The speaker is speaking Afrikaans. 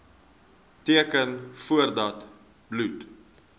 teken voordat bloed